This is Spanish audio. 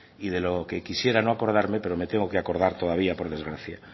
y de lo que quisiera no acordarme pero me tengo que acordar todavía por desgracia